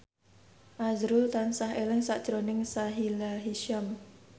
azrul tansah eling sakjroning Sahila Hisyam